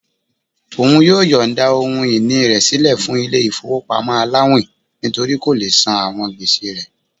Òun yóò yońda ohun-ini rẹ silẹ fún ilé ifowopamọ àláwin nítorí kó lé sán àwọn gbèsè rẹ̀